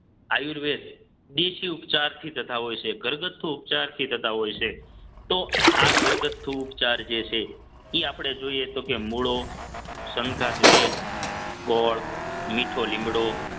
આયુર્વેદ દેશી ઉપચારથી તથા હોય છે ઘરગથ્થુ ઉપચારથી થતા હોય છે તો આ ઘરગથ્થુ ઉપચાર જે છે એ આપણે જોઈએ તો કે મૂળો સંઘાત વેલ ગોળ મીઠો લીમડો